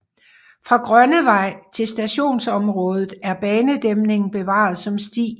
Fra Grønnevej til stationsområdet er banedæmningen bevaret som sti